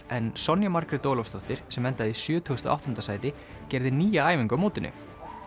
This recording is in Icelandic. en Sonja Margrét Ólafsdóttir sem endaði í sjötugasta og áttunda sæti gerði nýja æfingu á mótinu